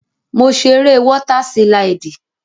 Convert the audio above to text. Mo ṣe eré wọ́tà sílídì